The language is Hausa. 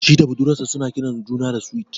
Shi da budurwar sa suna kiran juna da "Sweet ".